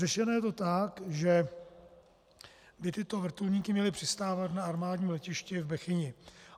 Řešeno je to tak, že by tyto vrtulníky měly přistávat na armádním letišti v Bechyni.